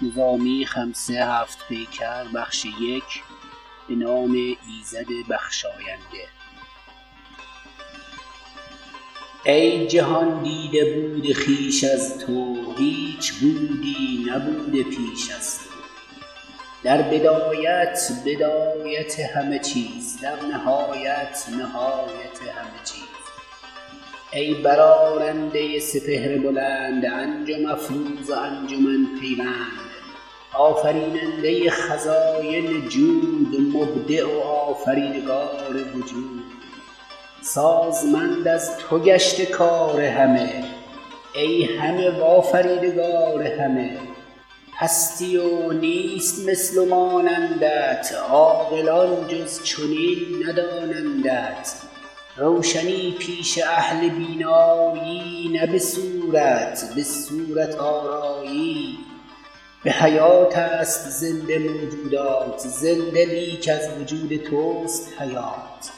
ای جهان دیده بود خویش از تو هیچ بودی نبوده پیش از تو در بدایت بدایت همه چیز در نهایت نهایت همه چیز ای برآرنده سپهر بلند انجم افروز و انجمن پیوند آفریننده خزاین جود مبدع و آفریدگار وجود سازمند از تو گشته کار همه ای همه و آفریدگار همه هستی و نیست مثل و مانندت عاقلان جز چنین ندانندت روشنی پیش اهل بینا یی نه به صورت به صورت آرایی به حیات ست زنده موجودات زنده لیک از وجود توست حیات